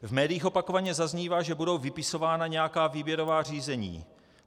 V médiích opakovaně zaznívá, že budou vypisována nějaká výběrová řízení.